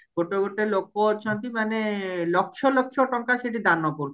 ଗୋଟେ ଗୋଟେ ଲୋକ ଅଛନ୍ତି ମାନେ ଲକ୍ଷ ଲକ୍ଷ ଟଙ୍କା ସେଠି ଦାନ